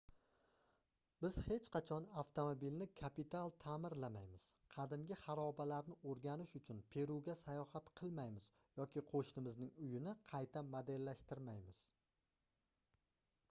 biz hech qachon avtomobilni kapital taʼmirlamaymiz qadimgi xarobalarni oʻrganish uchun peruga sayohat qilmaymiz yoki qoʻshnimizning uyini qayta modellashtirmaymiz